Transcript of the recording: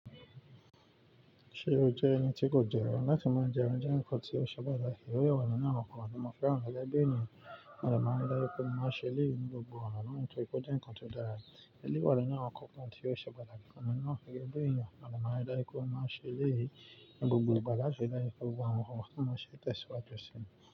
Ṣe o jẹ ẹni tí kò jẹran láti máa jẹran jẹ nǹkan tí o ṣe pata Eyi wọ̀nyí ni àwọn nǹkan tí mo fẹ́ran gege bi enìyẹn. Mode máa ń ri daju pẹ́, mo máa ṣe eleyi ni gbogbo òna náà tó ri pe ó jé nǹkan tó dára ni. Èlé wọ̀nyí ni àwọn nǹkan tí ó ṣe patakí fun mi na gege bi enìyẹn. Mo de máa ń ri dáju pẹ́ mo n ṣe eléyi ni gbogbo ìgbà láti ri dáju pẹ́. Gbogbo awon nkan ti mo n se tẹ́siwájú sí i.